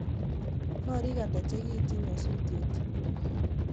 Korik ata chekiityi nyosutyet